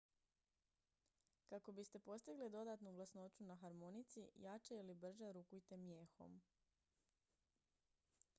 kako biste postigli dodatnu glasnoću na harmonici jače ili brže rukujte mijehom